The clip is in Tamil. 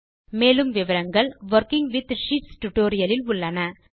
மேலும் விவரங்கள் வொர்க்கிங் வித் ஷீட்ஸ் டியூட்டோரியல் இல் உள்ளன